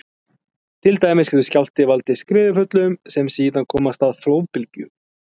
Til dæmis getur skjálfti valdið skriðuföllum sem síðan koma af stað flóðbylgju.